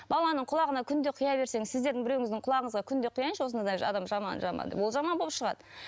баланың құлағына күнде құя берсең сіздердің біреуіңіздің құлағыңызға күнде құяыншы осындай адам жаман жаман деп ол жаман боп шығады